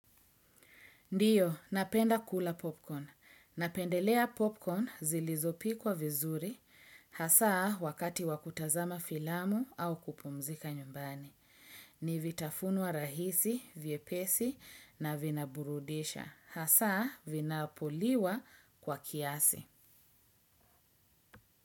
Ndiyo, napenda kula popcorn. Napendelea popcorn zilizopikwa vizuri, hasaa wakati wa kutazama filamu au kupumzika nyumbani. Ni vitafunwa rahisi, vyepesi na vinaburudisha. Hasaa vinapoliwa kwa kiasi.